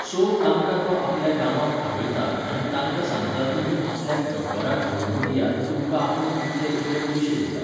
So, तांकां तो आपल्या गांवांत आपयता आनी तांका सांगता तुमी आपल्याक गब्बराक धरून दियात तुमकां आपूण इतले इतले पयशे दितां.